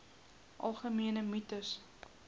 algemene mites